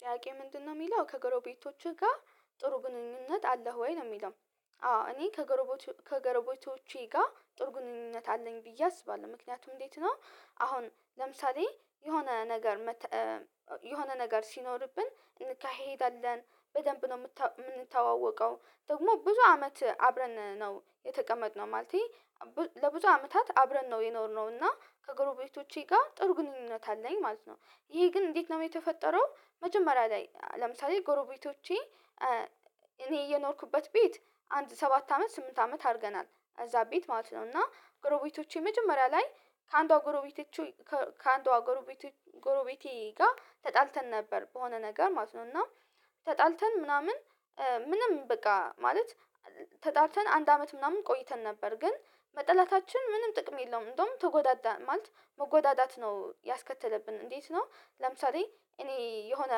ጥያቄው ምንድነው የሚለው ከገረቤቶችህ ጋር ጥሩ ግንኙነት አለህ ወይ ነውየሚለው? አዎ እኔ ከጎረቤቶ ከጎረቤቶቼ ገር ጋርጥሩ ግንኙነት አለኝ ብዬ አስባለው ምክንያቱም እንዴት ነው አሁን ለምሳሌ የሆነ ነገር መተ የሆነ ነገር ሲኖርብን እንካሄዳለን በደንብ ነው የምንተዋወቀው ደግሞ ብዙ አመት አብረን ነው የተቀመጥነው። ማለቴ ለብዙ አመታት አብረን ነው የኖርነው እና ከጎረቤቶቼ ጋር ጥሩ ግንኙነት አለኝ ማለት ነው። ይሄ ግን እንዴት ነው የተፈጠረው መጀመሪያ ላይ ለምሳሌ ጎሮቤቶቼ እኔ እየኖርኩበት ቤት አንድ ሰባት አመት ስምንት አመት አርገናል እዛ ቤት ማለት ነው። እና ጎሮቤቶቼ መጀመሪያ ላይ ከአንዷ ጎሮቤቶች ከአንዷ ጎረቤቴ ጋ ተጣልተን ነበር በሆነ ነገር ማለት ነው እና ተጣልተን ምናምን ምንም በቃ ማለት ተጣልተን አንድ አመት ምናምን ቆይተን ነበር ግን መጠላታችን ምንም ጥቅም የለውም እንደውም ተጎዳዳን ማለት መጎዳዳት ነው ያስከተለብን እንዴት ነው ለምሳሌ እኔ የሆነ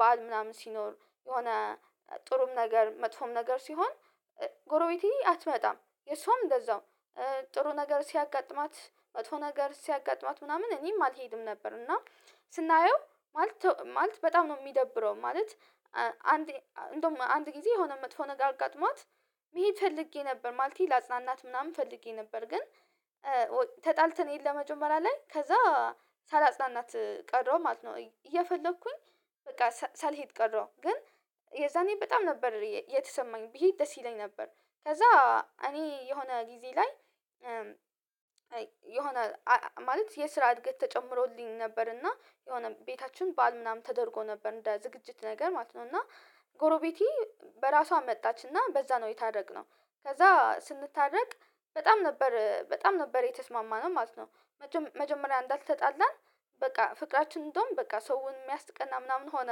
በዓል ምናምን ሲኖር የሆነ ጥሩም ነገር መጥፎም ነገር ሲሆን ጎረቤቴ አትመጣም የሷም እንደዛውም ጥሩ ነገር ሲያጋጥማት መቶጥፎ ነገር ሲያጋጥማት ምናምን እኔም አልሄድም ነበር። እና ስናየው ማለት በጣም ነው የሚደብረው ማለት አንድ እንደውም አንድ ጊዜ የሆነ መጥፎ ነገር አጋጥሟት መሄድ ፈልጌ ነበር ማለቴ ላጽናናት ምናምን ፈልጌ ነበር ግን ተጣልተን ሄድ ለመጀመሪያ ላይ ከዛ ሳላጽናናት ቀረው ማለት ነው እየፈለኩኝ በቃ ሳልሄድ ቀረው ግን የዛኔ በጣም ነበር የተሰማኝ ብሄድ ደስ ይለኝ ነበር። ከዛ እኔ የሆነ ጊዜ ላይ የሆነ ማለት የስራ እድገት ተጨምሮልኝ ነበር እና የሆነ ቤታችን ባል ምናምን ተደርጎ ነበር እንደ ዝግጅት ነገር ማለት ነው እና ጎረቤቴ በራሷ መጣችና በዛ ነው የታረቅነው ከዛ ስንታረቅ በጣም ነበር በጣም ነበር የተስማማነው ማለት ነው። መጀመሪያ እንዳልተጣላን በቃ ፍቅራችን እንደውም በቃ ሰውን የሚያስቀና ምናምን ሆነ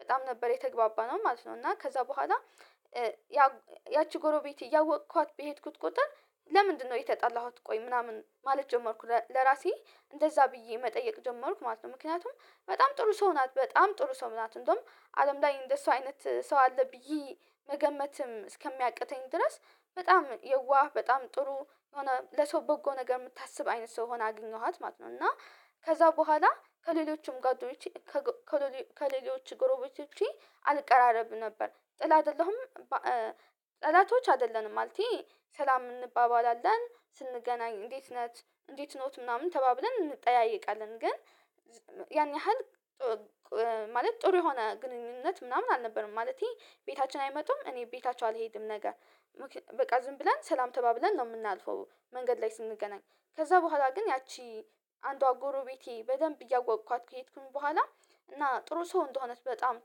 በጣም ነበር የተግባባነው ማለት ነው። እና ከዛ በኋላ ያ ያቺ ጎሮቤት እያወቅኳት በሄድኩት ቁጥር ለምንድነው የተጣላሁት ቆይ ምናምን ማለት ጀመርኩ ለራሴ እንደዛ ብዬ መጠየቅ ጀመርኩ ማለት ነው ምክንያቱም በጣም ጥሩ ሰው ናት በጣም ጥሩ ሰው ናት እንደውም አለም ላይ እንደሷ አይነት ሰው አለ ብዬ መገመትም እስከሚያቅተኝ ድረስ በጣም የዋህ በጣም ጥሩ የሆነ ለሰው በጎ ነገር የምታስብ አይነት ሰው ሆና አግኘኋት ማለት ነው እና ከዛ ቦኋላ ከሌሎቹም ጋር ከሌሎቹ ጎሮቤቶቼ አልቀራረብም ነበር ጥል አይደለሁም በ ጠላቶች አይደለንም ማለቴ ሰላም እንባባላለን ስንገናኝ እንዴት ነት እንዴት ኖት ምናምን ተባብለን እንጠያየቃለን ግን ያን ያህል ማለት ጥሩ የሆነ ግንኙነት ምናምን አልነበረም ማለቴ ቤታችን አይመጡም እኔ ቤታችሁ አልሄድም ነገ በቃ ዝም ብለን ሰላም ተባብለን ነው የምናልፈው መንገድ ላይ ስንገናኝ ከዛ ቦኋላ ግን ያቺ አንዷ ጎሮቤቴ በደንብ እያወቅኳት ከዬትኩኝ ቦኋላ እና ጥሩ ሰው እንደሆነች በጣም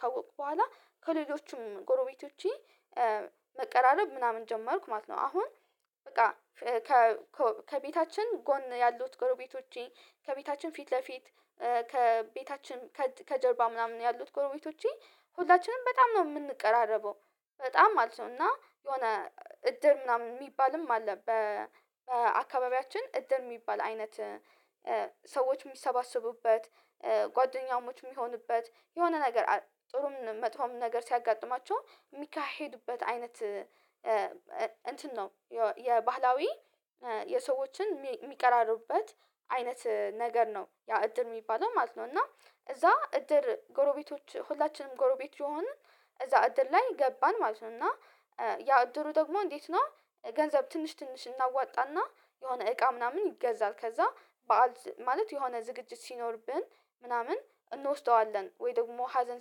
ካወቅኩ ቦኋላ ከሌሎችም ጎረቤቶቼ መቀራረብ ምናምን ጀመርኩ ማለት ነው አሁን በቃ ኮ ከቤታችን ጎን ያሉት ጎረቤቶቼ ከቤታችን ፊት ለፊት ከቤታችን ከጀርባ ምናምን ያሉት ጎረቤቶቼ ሁላችንም በጣም ነው የምንቀራረበው በጣም ማለት ነው። እና የሆነ እድር ምናምን የሚባልም አለ በአካባቢያችን እድር የሚባል አይነት ሰዎች የሚሰባሰቡበት ጓደኛሞች የሚሆኑበት የሆነ ነገር ጥሩም መጥፎም ነገር ሲያጋጥማቸው የሚካሄዱበት አይነት እንትን ነው የባህላዊ የሰዎችን የሚቀራረቡበት አይነት ነገር ነው ያ እድር የሚባለው ማለት ነው። እና እዛ እድር ጎሮቤቶች ሁላችንም ጎሮቤት የሆንን እዛ እድር ላይ ገባን ማለት ነው እና ያ አደሩ ደግሞ እንዴት ነው ገንዘብ ትንሽ ትንሽ እናዋጣና የሆነ እቃ ምናምን ይገዛል ከዛ በዓል ማለት የሆነ ዝግጅት ሲኖርብን ምናምን እንወስደዋለን ወይ ደግሞ ሀዘን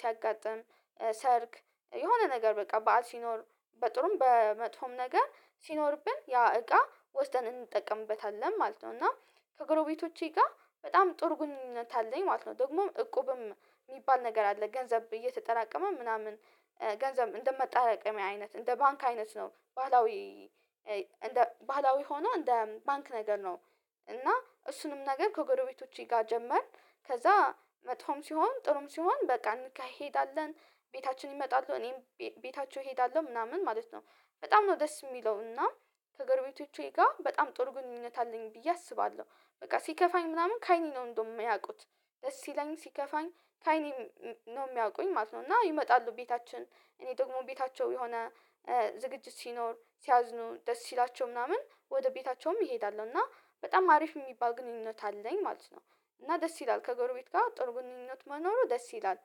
ሲያጋጥም ሰርግ የሆነ ነገር በቃ በዓል ሲኖር በጥሩም በመጥፎም ነገር ሲኖርብን ያ እቃ ወስደን እንጠቀምበታለን ማለት ነው እና ከጎረቤቶቼ ጋር በጣም ጥሩ ግንኙነት አለኝ ማለት ነው። ደግሞ እቁብም የሚባል ነገር አለ ገንዘብ እየተጠራቀመ ምናምን ገንዘብ እንደመጣረቀሚያ አይነት እንደ ባንክ አይነት ነው ባህላዊ ባህላዊ ሆኖ እንደ ባንክ ነገር ነው። እና እሱንም ነገር ከጎረቤቶቼ ጋር ጀመርን ከዛ መጥፎም ሲሆን ጥሩም ሲሆን በቃ እንካሄዳለን ቤታችን ይመጣሉ እኔም ቤታቸው እሄዳለው ምናምን ማለት ነው። በጣም ነው ደስ የሚለው እና ከገርቤቶቼ ጋር በጣም ጥሩ ግንኙነት አለኝ ብዬ አስባለው በቃ ሲከፋኝ ምናምን ከአይኔ ነው እንደውም ሚያቁት ደስ ሲለኝ ሲከፋኝ ከአይኔ ነው የሚያውቁኝ ማለት ነው። እና ይመጣሉ ቤታችን እኔ ደግሞ ቤታቸው የሆነ ዝግጅት ሲኖር ሲያዝኑ ደስ ሲላቸው ምናምን ወደ ቤታቸውም አሄዳለው። እና በጣም አሪፍ የሚባል ግንኙነት አለኝ ማለት ነው። እና ደስ ይላል ከጎርቤት ጋር ጥሩ ግንኙነት መኖሩ ደስ ይላል።